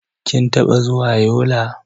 Kin taɓa zuwa Yola?